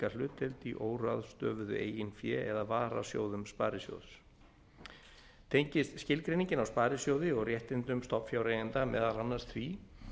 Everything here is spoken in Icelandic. hlutdeild í óráðstöfuðu eigin fé eða varasjóðum sparisjóðs tengist skilgreiningin á sparisjóði og réttindum stofnfjáreiganda meðal annars því